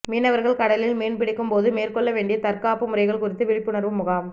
மீனவர்கள் கடலில் மீன் பிடிக்கும் போது மேற்கொள்ள வேண்டிய தற்காப்பு முறைகள் குறித்த விழிப்புணர்வு முகாம்